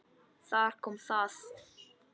Þar kom það.